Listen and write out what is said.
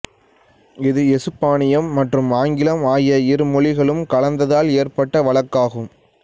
இது எசுப்பானியம் மற்றும் ஆங்கிலம் ஆகிய இருமொழிகளும் கலந்ததால் ஏற்பட்ட வழக்காகும்